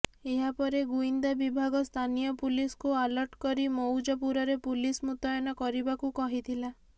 ଏହାପରେ ଗୁଇନ୍ଦା ବିଭାଗ ସ୍ଥାନୀୟ ପୁଲିସକୁ ଆଲର୍ଟ କରି ମଉଜପୁରରେ ପୁଲିସ ମୁତୟନ କରିବାକୁ କହିଥିଲା